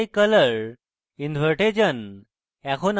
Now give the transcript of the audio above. তাই colours invert যান